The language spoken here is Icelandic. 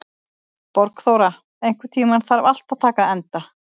Borgþóra, einhvern tímann þarf allt að taka enda.